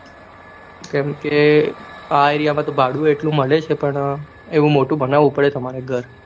કેમ ક આ area માં ભાડું એટલું મે છે ક પણ એવું મોટું બનવું પડે તમારે ઘર